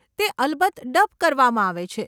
તે અલબત્ત ડબ કરવામાં આવે છે.